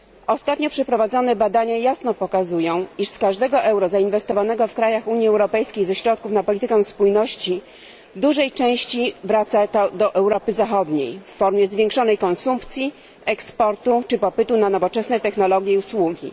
Ostatnio przeprowadzone badania jasno pokazują, iż z każdego euro zainwestowanego w krajach Unii Europejskiej ze środków na politykę spójności w dużej części wraca to do Europy Zachodniej w formie zwiększonej konsumpcji, eksportu czy popytu na nowoczesne technologie i usługi.